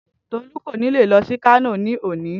Tolu kò ní leè lọ sí Kano ní òní